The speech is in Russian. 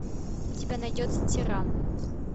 у тебя найдется тиран